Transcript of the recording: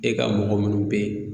E ka mɔgɔ munnu be yen